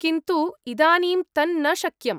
किन्तु इदानीं तन्न शक्यम्।